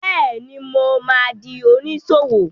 Bẹ́ẹ̀ni, mo ma di oníṣòwò